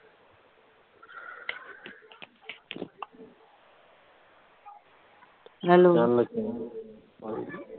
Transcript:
hello